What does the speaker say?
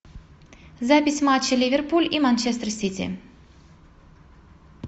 запись матча ливерпуль и манчестер сити